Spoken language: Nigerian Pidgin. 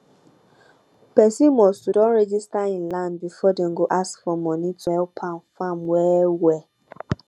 pesin must to don register him land before dem go dey ask for moni to help am farm well well